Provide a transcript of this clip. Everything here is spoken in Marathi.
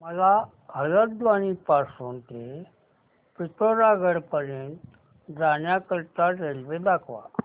मला हलद्वानी पासून ते पिठोरागढ पर्यंत जाण्या करीता रेल्वे दाखवा